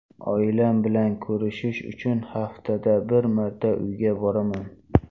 Oilam bilan ko‘rishish uchun haftada bir marta uyga boraman.